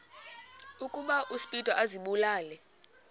ukuba uspido azibulale